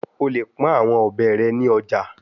O le pọn awọn ọbẹ rẹ ni ọja